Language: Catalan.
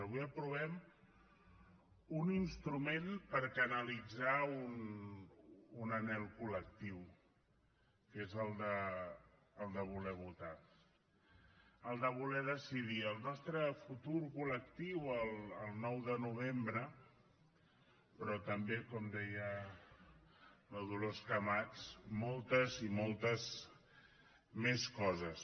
avui aprovem un instrument per canalitzar un anhel col·lectiu que és el de voler votar el de voler decidir el nostre futur col·lectiu el nou de novembre però també com deia la dolors camats moltes i moltes més coses